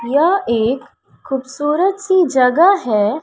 यह एक खूबसूरत सी जगह है।